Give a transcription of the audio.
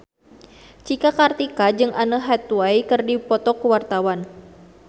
Cika Kartika jeung Anne Hathaway keur dipoto ku wartawan